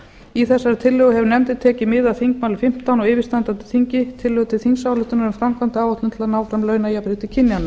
í þessari tillögu hefur nefndin tekið mið af þingmáli fimmtán á yfirstandandi þingi tillögu til þingsályktunar um framkvæmdaáætlun til að ná fram launajafnrétti kynjanna